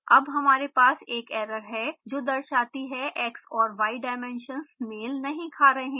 अब हमारे पास एक एरर है जो दर्शाती है x और y dimensions मेल नहीं खा रहे हैं